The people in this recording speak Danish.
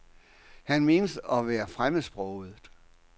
Han menes at være fremmedsproget.